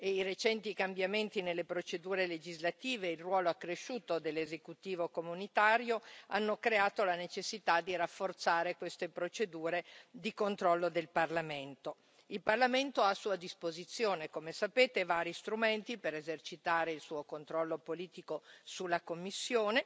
I recenti cambiamenti nelle procedure legislative e il ruolo accresciuto dell'esecutivo comunitario hanno creato la necessità di rafforzare queste procedure di controllo del Parlamento. Il Parlamento ha a sua disposizione, come sapete, vari strumenti per esercitare il suo controllo politico sulla Commissione